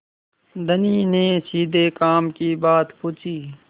धनी ने सीधे काम की बात पूछी